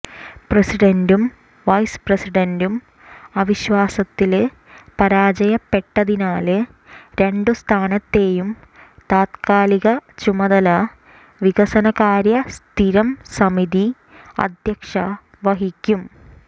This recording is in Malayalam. പ്രസിഡന്റും വൈസ്പ്രസിഡന്റും അവിശ്വാസത്തില് പരാജയപ്പെട്ടതിനാല് രണ്ടുസ്ഥാനത്തേയും താത്കാലിക ചുമതല വികസനകാര്യ സ്ഥിരം സമിതി അധ്യക്ഷ വഹിക്കും